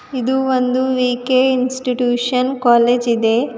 ಇದು ಒಂದು V K institution college ಇದೆ.